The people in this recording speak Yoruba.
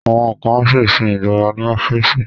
Àwọn kan á sì sin ìjọba ní ọ́fíìsì